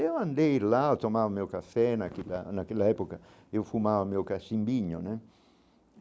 Eu andei lá, eu tomava o meu café naquela época, eu fumava o meu cachimbinho né.